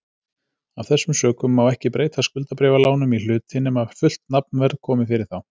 Af þessum sökum má ekki breyta skuldabréfalánum í hluti nema fullt nafnverð komi fyrir þau.